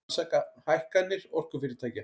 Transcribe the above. Rannsaka hækkanir orkufyrirtækja